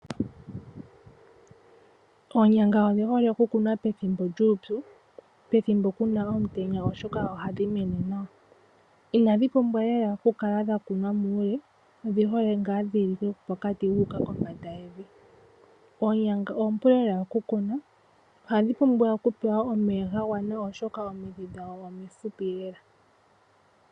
Oonyanga odhi hole oku kunwa pethimbo lyuupyu, pethimbo lyomutenya oshoka ohadhi mene nawa. Inaoonyanga oompulela okukunwa khadhi pumbwa oku pewa omeya ga gwana oshoka omidhi dhadho omifupi lela